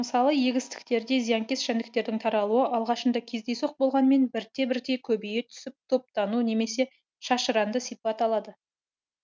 мысалы егістіктерде зиянкес жәндіктердің таралуы алғашында кездейсоқ болғанымен бірте бірте көбейе түсіп топтану немесе шашыранды сипат алады